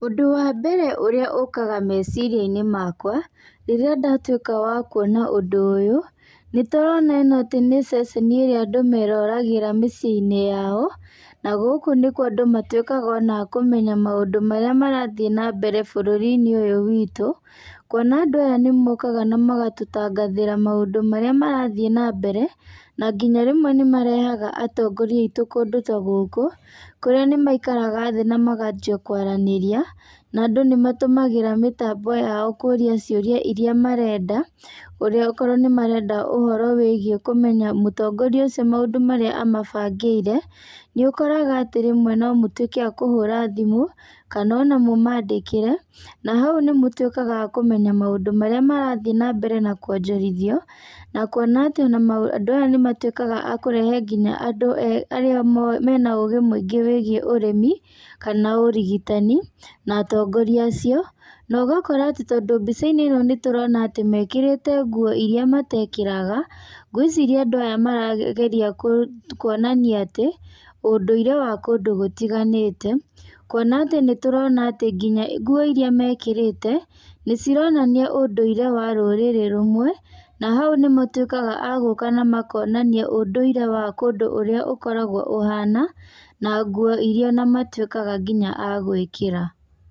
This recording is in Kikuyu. Ũndũ wa mbere ũrĩa ũkaga meciria-inĩ makwa, rĩrĩa ndatuĩka wa kuona ũndũ ũyũ, nĩ tũrona ĩno atĩ nĩ ceceni ĩrĩa andũ meroragĩra mĩciĩ-inĩ yao, na gũkũ nĩkuo andũ matuĩkaga ona a kũmenya maũndũ marĩa marathiĩ na mbere bũrũri-inĩ ũyũ witũ, kuona andũ aya nĩ mokaga na magatũtangathĩra maũndũ marĩa marathiĩ na mbere, na nginya rĩmwe nĩ marehaga atongoria aitũ kũndũ ta gũkũ, kũrĩa nĩ maikaraga thĩ namakanjia kwaranĩria, nandũ nĩ matũmagĩra mĩtambo yao kũria ciũria iria marenda, ũrĩa akorwo nĩmarenda ũhoro wĩgiĩ kũmenya mũtongoria ũcio maũndũ marĩa amabangĩire, nĩ ũkoraga atĩ ríĩwe no mũtuĩke akũhũra thimũ, kana ona mũmandĩkĩre, na hau nĩ mũtuĩkaga a kũmenya maũndũ marĩa marathiĩ nambere na kwonjorithio, na kuona atĩ onama andũ aya nĩ matuĩkaga akũrehe nginya andũ arĩa mena ũgĩ mũingĩ wĩgiĩ ũrĩmi, kana ũrigitani, na atongoria acio. Nogakora atĩ tondũ mbica-inĩ ĩno nĩ turona atĩ mekĩraga nguo iria matekĩraga, gwĩciria andũ aya marageria ku konania atĩ, ũndũirĩ wa kũndũ gũtiganĩte, kuona atĩ nĩ turona atĩ nginya nguo iria mekĩrĩte nĩ cironania ũndũire wa rũrĩrĩ rũmwe, na hau nĩ matuĩkaga a gũka na makonania ũndũirĩ wa kũndũ ũrĩa ũkoragwo ũhana, na nguo iria ona matuĩkaga nginya a gwĩkĩra.